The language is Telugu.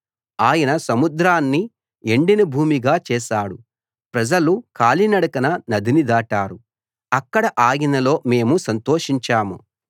ఆయన సముద్రాన్ని ఎండిన భూమిగా చేశాడు ప్రజలు కాలినడకన నదిని దాటారు అక్కడ ఆయనలో మేము సంతోషించాము